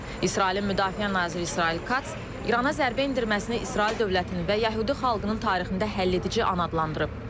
İsrailin Müdafiə naziri İsrail Katz İrana zərbə endirməsini İsrail dövlətinin və yəhudi xalqının tarixində həll edici an adlandırıb.